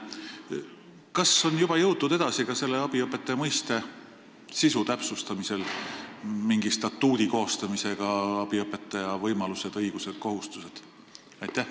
Kas on juba jõutud edasi ka selle abiõpetaja mõiste sisu täpsustamisel mingi statuudi koostamisega – abiõpetaja võimalused, õigused, kohustused?